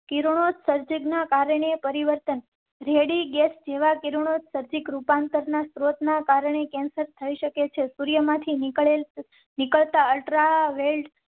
કિરણોત્સર્જક ના કારણે પરિવર્તન, રેલી ગેસ જેવા કિરણોત્સર્ગ એક રૂપાંતર ના સ્રોત ના કારણે કેન્સર થઇ શકે છે. સૂર્ય માંથી નીકળતાં નીકળતાં અલ્ટ્રા વાય